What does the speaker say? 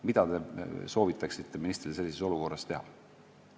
Mida te soovitaksite ministril sellises olukorras teha?